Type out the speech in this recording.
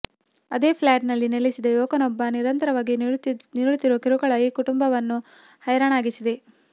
ಅದೇ ಫ್ಲ್ಯಾಟಿನಲ್ಲಿ ನೆಲೆಸಿದ ಯುವಕನೊಬ್ಬ ನಿರಂತರವಾಗಿ ನೀಡುತ್ತಿರುವ ಕಿರುಕುಳ ಈ ಕುಟುಂಬವನ್ನು ಹೈರಾಣಾಗಿಸಿದೆ